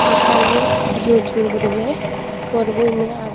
attani jur jur gorinay porbu endi aag.